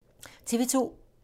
TV 2